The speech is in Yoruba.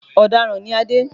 Ọ̀daràn ni Adé